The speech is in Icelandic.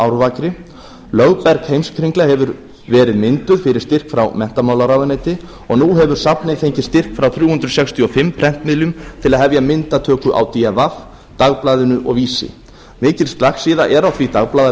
árvakri lögberg heimskringla hefur verið mynduð fyrir styrk frá menntamálaráðuneyti og nú hefur safnið fengið styrk frá þrjú hundruð sextíu og fimm prentmiðlum til að hefja myndatöku á d v dagblaðinu og vísi mikil slagsíða er á því